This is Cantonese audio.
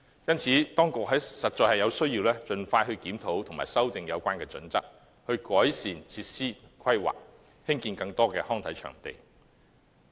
因此，當局必須盡快檢討及修訂《規劃標準》，改善設施規劃，興建更多康體場地。